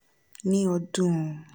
ní ọdún un